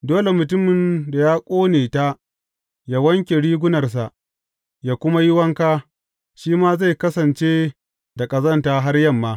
Dole mutumin da ya ƙone ta yă wanke rigunarsa, yă kuma yi wanka, shi ma zai kasance da ƙazanta har yamma.